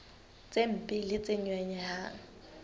tse mpe le tse nyonyehang